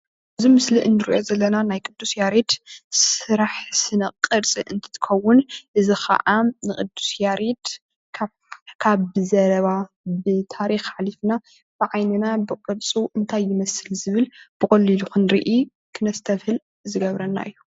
እዚ ምስሊ ንሪኦ ዘለና ናይ ቅዱስ ያሬድ ስራሕ ስነ ቅርፂ እንትትኽውን እዚ ኸዓ ንቅዱስ ያሬድ ካብ ብዘረባ ብታሪኽ ሓሊፍና ብዓይንና ብቅርፁ እንታይ ይመስል ዝብል ብቐሊሉ ክንርኢ ክነስተብህል ዝገብረና እዩ።